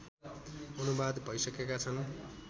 अनुवाद भइसकेका छन्